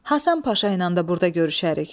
Həsən Paşa ilə də burda görüşərik.